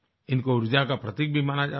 इनको ऊर्जा का प्रतीक भी माना जाता है